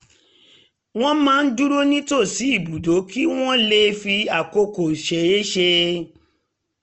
wọ́n máa ń dúró nítòsí ibùdó kí wọ́n lè fi àkókò ṣeéṣe